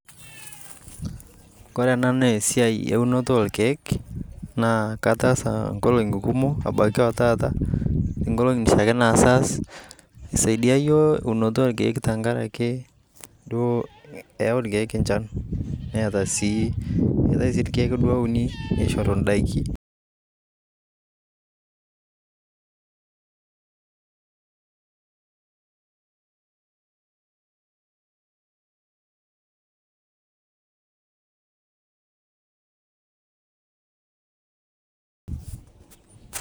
Kore ena nesiai eunoto orkeek, naa kataasa nkolong'i kumok, ebaiki otaata, nkolong'i naisho aas, isaidia yiok eunoto orkeek tankaraki duo eu irkeek enchan, neeta si etai ake irkeek duo ouni nishoru daiki,